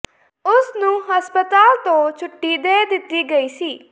ਉਸ ਨੂੰ ਹਸਪਤਾਲ ਤੋਂ ਛੁੱਟੀ ਦੇ ਦਿੱਤੀ ਗਈ ਸੀ